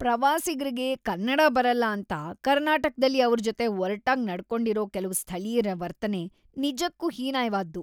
ಪ್ರವಾಸಿಗ್ರಿಗೆ ಕನ್ನಡ ಬರಲ್ಲ ಅಂತ ಕರ್ನಾಟಕ್ದಲ್ಲಿ ಅವ್ರ್ ಜೊತೆ‌ ಒರ್ಟಾಗ್ ನಡ್ಕೊಂಡಿರೋ ಕೆಲ್ವು ಸ್ಥಳೀಯ್ರ ವರ್ತನೆ ನಿಜಕ್ಕೂ ಹೀನಾಯ್‌ವಾದ್ದು.